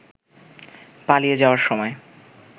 পালিয়ে যাওয়ার সময়